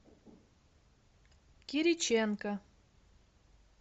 кириченко